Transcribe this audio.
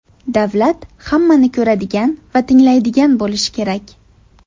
Davlat hammani ko‘radigan va tinglaydigan bo‘lishi kerak.